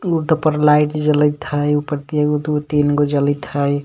पर लाइट जलीत है उपर तीन - दु तीन गो जलीत है.